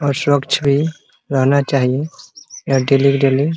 और स्वस्छ भी रहना चाहिए यहाँ डेली के डेली --